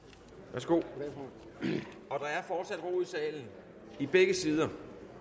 værsgo og der er fortsat ro i salen i begge sider